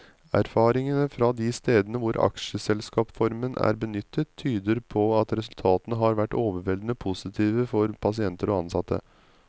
Erfaringene fra de stedene hvor aksjeselskapsformen er benyttet, tyder på at resultatene har vært overveldende positive for pasienter og ansatte.